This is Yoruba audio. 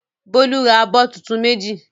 Bólú ra abọ́ tuntun méjì?